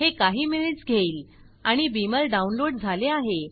हे काही मिनिट्स घेईल आणि बीमर डाउनलोड झाले आहे